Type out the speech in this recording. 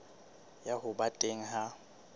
ya ho ba teng ha